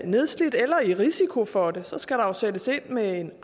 nedslidt eller i risiko for det så skal der sættes ind med en